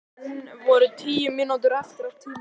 Enn voru tíu mínútur eftir af tímanum.